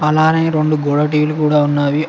అలానే రెండు గోడ టీవీలు కూడా ఉన్నావి.